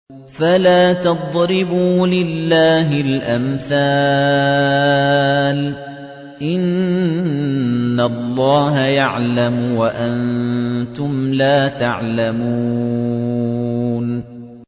فَلَا تَضْرِبُوا لِلَّهِ الْأَمْثَالَ ۚ إِنَّ اللَّهَ يَعْلَمُ وَأَنتُمْ لَا تَعْلَمُونَ